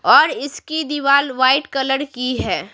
और इसकी दीवार वाइट कलर की है।